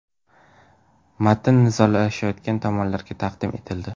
Matn nizolashayotgan tomonlarga taqdim etildi.